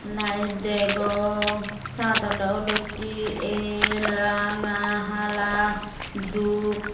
lite degong sat oley oloittey el ranga hala dup.